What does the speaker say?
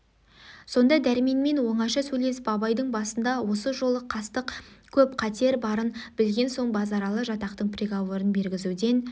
сонда дәрменмен оңаша сөйлесіп абайдың басына осы жолы қастық көп қатер барын білген соң базаралы жатақтың приговорын бергізуден